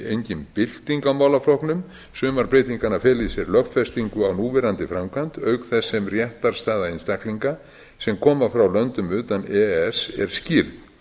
engin bylting á málaflokknum sumar breytinganna fela í sér lögfestingu á núverandi framkvæmd auk þess sem réttarstaða einstaklinga sem koma frá löndum utan e e s er skýrð